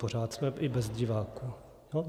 Pořád jsme i bez diváků.